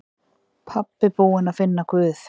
Pabbi búinn að finna Guð!